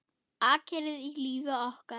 Akkerið í lífi okkar.